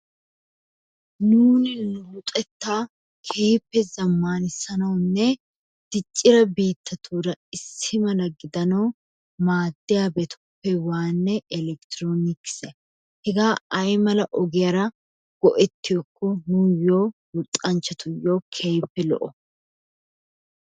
Nuuni nu luxettaa keehippe zammaanissanawunne diccida biittatuura issi mala gidanawu maaddiyabatuppe waannay elekktroonikesiya. Hegaa ayimala ogiyara go'ettiyakko nuyyoo luxanchchatuyo keehippe lo'o?